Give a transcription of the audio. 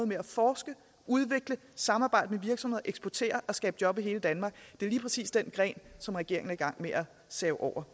med at forske udvikle samarbejde med virksomheder eksportere og skabe job i hele danmark er lige præcis den gren som regeringen er i gang med at save over